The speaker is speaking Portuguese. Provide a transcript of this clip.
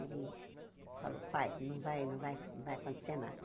Ele falou, faz, não vai não vai não vai acontecer nada.